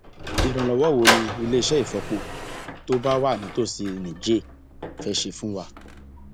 ìrànlọwọ wo ni iléeṣẹ ìfọpo tó bá wà nítòsí níjẹẹ fẹẹ ṣe fún wa